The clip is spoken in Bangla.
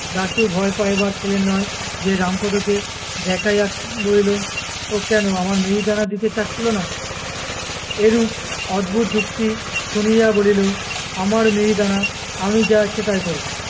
দাশু ভয় পাইবার ছেলে নয় সে রামপদোকে দেখাইয়া বলিল, ও কেনো আমায় মিহিদানা দিতে চাচ্ছিলো না? এরূপ অদ্ভুত যুক্তি শুনিয়া বলিল, আমার মিহিদানা আমি যা ইচ্ছা তাই করবো।